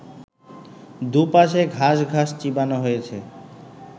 দুপাশে ঘাস ঘাস চিবানো হয়েছে